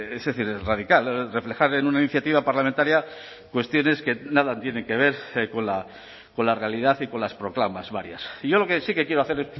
es decir radical reflejar en una iniciativa parlamentaria cuestiones que nada tienen que ver con la realidad y con las proclamas varias y yo lo que sí que quiero hacer